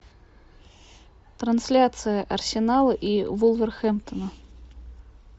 трансляция арсенала и вулверхэмптона